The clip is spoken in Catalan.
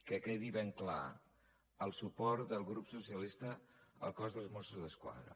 que quedi ben clar el suport del grup socialista al cos dels mossos d’esquadra